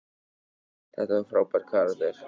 Þetta var frábær karakter sigur hjá okkur.